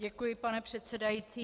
Děkuji, pane předsedající.